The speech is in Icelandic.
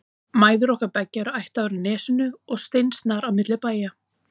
Mæður okkar beggja eru ættaðar af Nesinu og steinsnar á milli bæja.